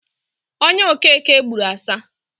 Onya okeke gburu ọsa.